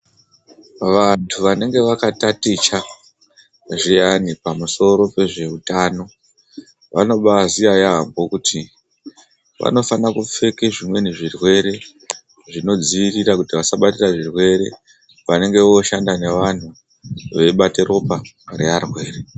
VANTU VANENGE VAKATATICHA ZVIYANI PAMUSORO PEZVEUTANO, VANOBAAZIYA YAAMHO KUTI VANOFANA KUPFEKE ZVIMWENI ZVIRWERE ZVINODZIIRIRA KUTI VASABATIRA ZVIRWERE PEVANENGE VOOSHANDA, VANOSHANDA NEVANTU VEIBATA ROPA REARWERE.